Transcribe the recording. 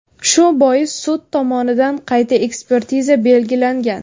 Shu bois sud tomonidan qayta ekspertiza belgilangan.